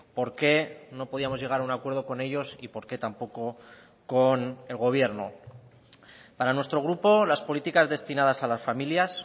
porqué no podíamos llegar a un acuerdo con ellos y porqué tampoco con el gobierno para nuestro grupo las políticas destinadas a las familias